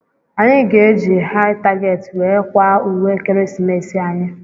Anyị ga- eji Hai target wee kwaa ùwé ekeresimesi anyị.